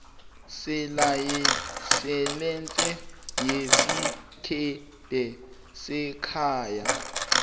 selayisense yesikebhe sekhaya